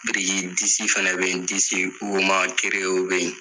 Biriki disi fɛnɛ be ye, disi woma gereyew be ye.